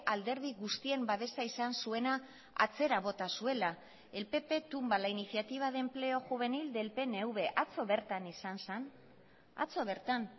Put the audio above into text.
alderdi guztien babesa izan zuena atzera bota zuela el pp tumba la iniciativa de empleo juvenil del pnv atzo bertan izan zen atzo bertan